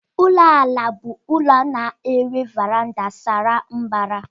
Ụlọ àlà bụ ụlọ na-enwe varanda sara mbara.